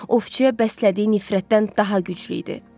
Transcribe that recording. Ofçiyə bəslədiyi nifrətdən daha güclü idi.